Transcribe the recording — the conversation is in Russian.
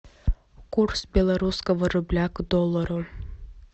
курс белорусского рубля к доллару